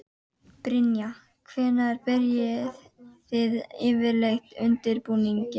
Brynja: Hvenær byrjið þið yfirleitt undirbúninginn?